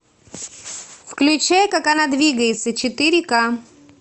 включай как она двигается четыре к